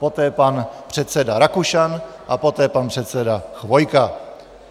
Poté pan předseda Rakušan a poté pan předseda Chvojka.